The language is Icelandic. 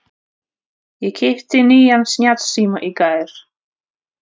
Ég keypti nýjan snjallsíma í gær.